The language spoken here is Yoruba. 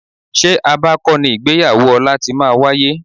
Ṣé Aba kọ́ ni ìgbéyàwó ọ̀la ti máa wáyé?